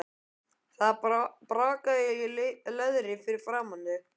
Það brakaði í leðri fyrir framan þau.